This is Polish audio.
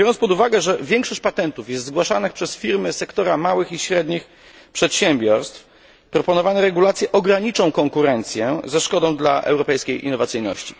Biorąc pod uwagę, że większość patentów jest zgłaszanych przez firmy sektora małych i średnich przedsiębiorstw, proponowane regulacje ograniczą konkurencję ze szkodą dla europejskiej innowacyjności.